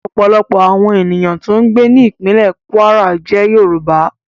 Ọ̀pọ̀lọpọ̀ àwọn ènìyàn tó ń gbé ní ìpínlè Kwara jẹ́ Yorùbá